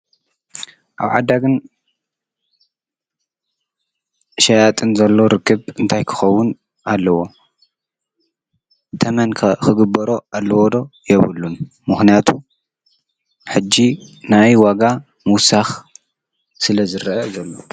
ኣብ ዓዳግን ሽያጥን ዘሎ ርክብ እንታይ ክኸውን ኣለዎ? ተመን ከ ኽግበሮ ኣለዎ ዶ የብሉን? ምኽንያቱ ሕጅ ናይ ዋጋ ምውሳኽ ስለ ዝረአ ዘሎ፣